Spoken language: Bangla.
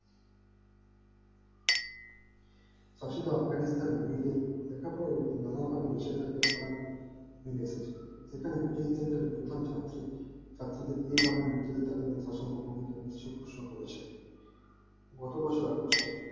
কাছে তো আফগানিস্তানের মেয়েদের যে সকল এইযে নানাএইযে নানাভাবে নিষিদ্ধ যজ্ঞ করার নেমে এসেছে এখানে প্রতিনিধিত্বের প্রথম ছাত্রী ছাত্রীদের এভাবে মৃত্যুদের শাসিত ভূমিকা পালন করেছেন গত বছর august এ